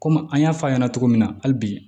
Komi an y'a fɔ a ɲɛna cogo min na hali bi